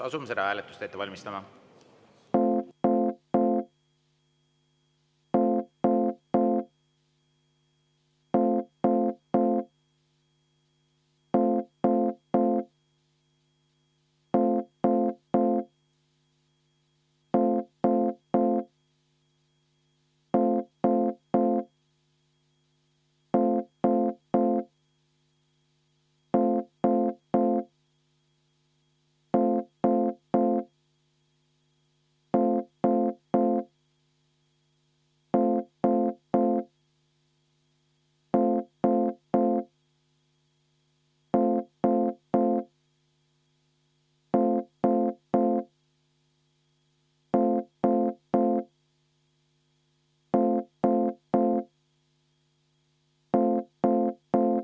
Asume seda hääletust ette valmistama.